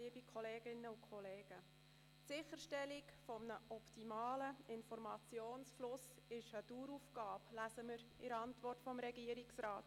Die Sicherstellung eines optimalen Informationsflusses sei eine Daueraufgabe, lesen wir in der Antwort des Regierungsrats.